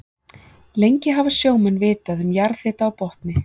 Lengi hafa sjómenn vitað um jarðhita á botni